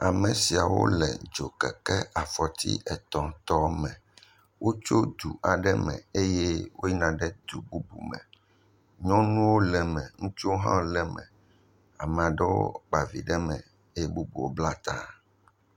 Ame siawo le dzokeke afɔti etɔ̃ tɔ aɖe, wotso du aɖe me eye woyina ɖe du bubu me, nyɔnuwo le me, ŋutsuwo hã le me, ame aɖewo kpa vi ɖe me eye bubuwo bla ta.